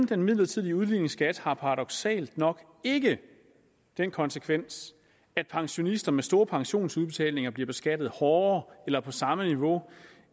den midlertidige udligningsskat har paradoksalt nok ikke den konsekvens at pensionister med store pensionsudbetalinger bliver beskattet hårdere eller på samme niveau